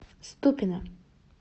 ступино